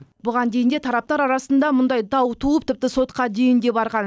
бұған дейін де тараптар арасында мұндай дау туып тіпті сотқа дейін де барған